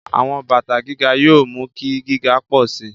Àwọn bàtà gíga yóò mú kí gíga pọ̀ sí i.